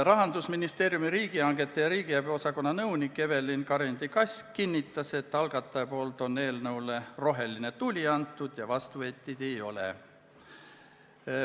Rahandusministeeriumi riigihangete ja riigiabi osakonna nõunik Evelin Karindi-Kask kinnitas, et algataja on andnud eelnõule rohelise tule ja vastuväiteid ei ole.